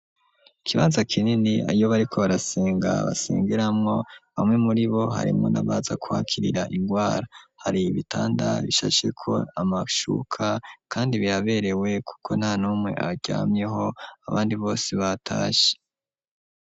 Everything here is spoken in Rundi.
Ikibanza kinini iyo bariko barasenga basengeramwo bamwe muri bo harimwo n'abaza kuhakirira ingwara hari ibitanda bishasheko amashuka kandi biraberewe kuko nta numwe aryamyeho abandi bose batashe